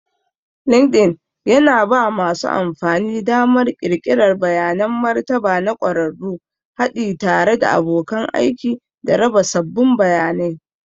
Linkedln yana ba masu amfani damar ƙirƙirar bayanan martaba na ƙwararru, haɗi tare da abokan aiki, da raba sabbin bayanai.